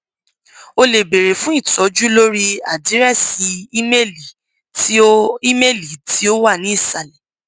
o le beere fun itọju lori adirẹsi imeeli ti o imeeli ti o wa ni isalẹ